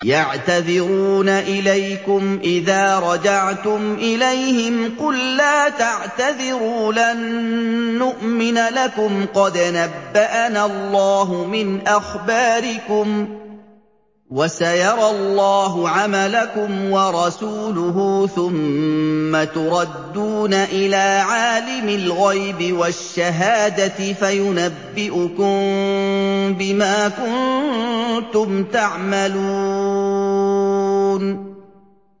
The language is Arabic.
يَعْتَذِرُونَ إِلَيْكُمْ إِذَا رَجَعْتُمْ إِلَيْهِمْ ۚ قُل لَّا تَعْتَذِرُوا لَن نُّؤْمِنَ لَكُمْ قَدْ نَبَّأَنَا اللَّهُ مِنْ أَخْبَارِكُمْ ۚ وَسَيَرَى اللَّهُ عَمَلَكُمْ وَرَسُولُهُ ثُمَّ تُرَدُّونَ إِلَىٰ عَالِمِ الْغَيْبِ وَالشَّهَادَةِ فَيُنَبِّئُكُم بِمَا كُنتُمْ تَعْمَلُونَ